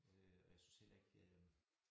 Øh og jeg synes heller ikke øh